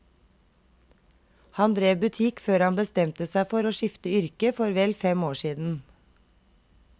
Han drev butikk før han bestemte seg for å skifte yrke for vel fem år siden.